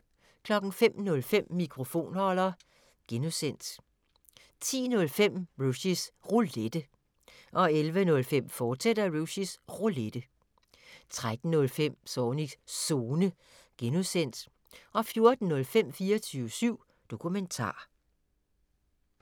05:05: Mikrofonholder (G) 10:05: Rushys Roulette 11:05: Rushys Roulette, fortsat 13:05: Zornigs Zone (G) 14:05: 24syv Dokumentar